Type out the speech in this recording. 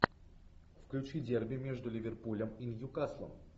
включи дерби между ливерпулем и ньюкаслом